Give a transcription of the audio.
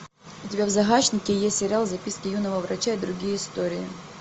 у тебя в загашнике есть сериал записки юного врача и другие истории